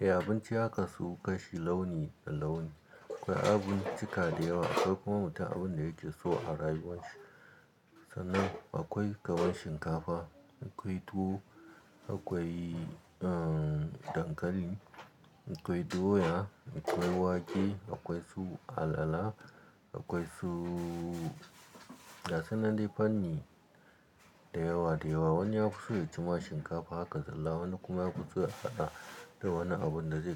Eh, abinci ya kasu, kashi launi da launi. Akwai abincika dayawa, akwai kuma mutum abin da yake so a rayuwarshi. Sanan, akwai gaban shinkafa, akwai tuwo, akwai dankali, akwai doya, akwai wake, akwai su alala, akwai su Ga su nan dai fanni, dayawa-dayawa. Wani ya fi so ya ci ma shinkafa haka zalla, wani kuma ya fi so, ya haɗa da wani abin da zai.